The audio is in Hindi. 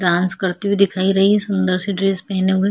डांस करते हुए दिखाई रही है सुंदर -सी ड्रेस पहने हुए --